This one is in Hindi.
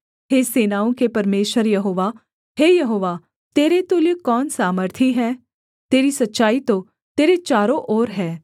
हे सेनाओं के परमेश्वर यहोवा हे यहोवा तेरे तुल्य कौन सामर्थी है तेरी सच्चाई तो तेरे चारों ओर है